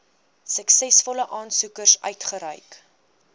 suksesvolle aansoekers uitgereik